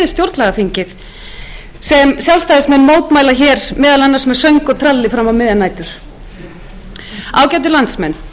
sem sjálfstæðismenn mótmæla hér meðal annars með söng og tralli fram á miðjar nætur ágætu landsmenn